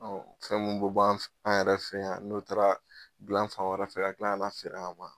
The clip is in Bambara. Ɔ fɛn minnu bɛ bɔ an yɛrɛ fɛ yan n'o taara dilan fan wɛrɛ fɛ ,ka tila ka na feere an ma